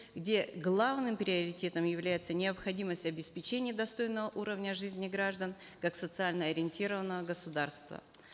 где главным приоритетом является необходимость обеспечения достойного уровня жизни граждан как социально ориентированного государства